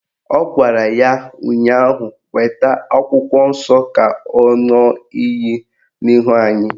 Ọ gwara ya ụnyaahụ "Weta akwụkwọ nsọ ka ọ ṅụọ iyi n'ihu anyị"